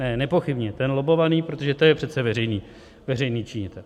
Ne, nepochybně ten lobbovaný, protože to je přece veřejný činitel.